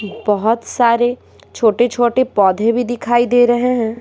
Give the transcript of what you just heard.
बहुत सारे छोटे-छोटे पौधे भी दिखाई दे रहे हैं।